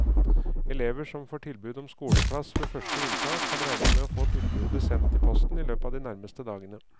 Elever som får tilbud om skoleplass ved første inntak kan regne med å få tilbudet sendt i posten i løpet av de nærmeste dagene.